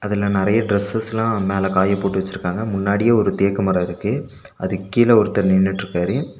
இதுல நெறய டிரஸ்ஸஸ்லா மேல காய போட்டு வெச்சிருக்காங்க முன்னாடியே ஒரு தேக்கு மரோ இருக்கு அதுக்கு கீழ ஒருத்தர் நின்னுட்ருக்காரு.